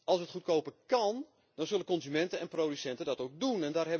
Als het goedkoper kan, dan zullen consumenten en producenten dat ook doen.